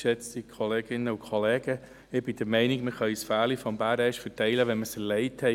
Ich bin der Meinung, dass wir das Fell des Bären erst verteilen können, wenn wir ihn erlegt haben.